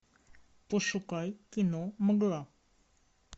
пошукай кино мгла